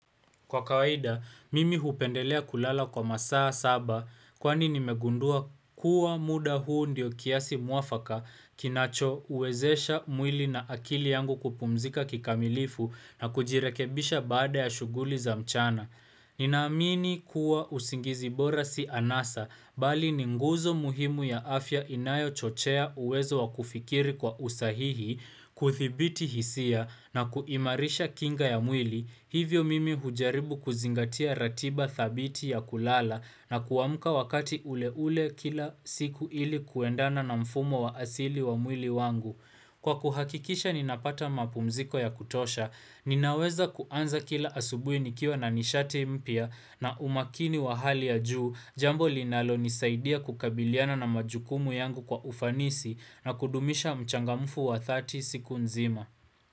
Kwa kawaida, mimi hupendelea kulala kwa masaa saba kwani nimegundua kuwa muda huu ndiyo kiasi mwafaka kinacho uwezesha mwili na akili yangu kupumzika kikamilifu na kujirekebisha baada ya shuguli za mchana. Nina amini kuwa usingizi bora si anasa bali ni nguzo muhimu ya afya inayo chochea uwezo wakufikiri kwa usahihi, kuthibiti hisia na kuimarisha kinga ya mwili, hivyo mimi hujaribu kuzingatia ratiba thabiti ya kulala na kuamka wakati ule ule kila siku ili kuendana na mfumo wa asili wa mwili wangu. Kwa kuhakikisha ninapata mapumziko ya kutosha, ninaweza kuanza kila asubuhi nikiwa na nishati mpya na umakini wa hali ya juu, jambo linalo nisaidia kukabiliana na majukumu yangu kwa ufanisi na kudumisha mchangamufu wa thati siku nzima.